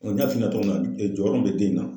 n y'a f'i ɲɛna cogo min na jɔyɔrɔ min bɛ den in na